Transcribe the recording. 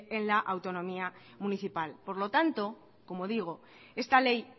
en la autonomía municipal por lo tanto como digo esta ley